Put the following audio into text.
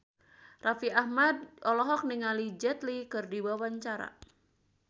Raffi Ahmad olohok ningali Jet Li keur diwawancara